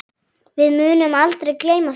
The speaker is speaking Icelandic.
Við munum aldrei gleyma þessu.